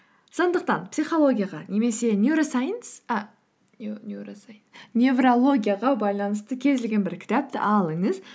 сондықтан психологияға немесе неуросайнс неврологияға байланысты кез келген бір кітапты алыңыз